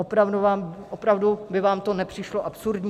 Opravdu by vám to nepřišlo absurdní?